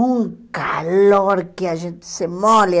Um calor que a gente se molha.